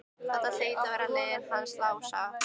Þetta hlaut að vera leiðið hans Lása.